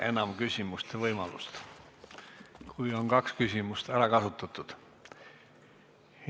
Enam küsimise võimalust ei ole, kui on kaks küsimust ära kasutatud.